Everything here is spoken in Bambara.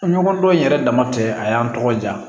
Ɲɔgɔndɔ in yɛrɛ dama tɛ a y'an tɔgɔ ja